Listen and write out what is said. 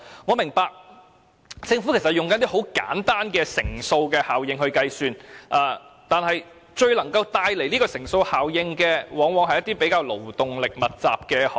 我明白政府是在運用簡單的乘數效應來計算，但最能帶來乘數效應的往往是一些勞動力密集的行業。